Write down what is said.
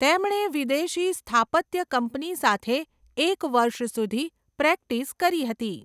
તેમણે વિદેશી સ્થાપત્ય કંપની સાથે એક વર્ષ સુધી પ્રેક્ટિસ કરી હતી.